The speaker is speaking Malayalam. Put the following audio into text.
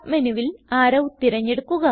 submenuവിൽ അറോ തിരഞ്ഞെടുക്കുക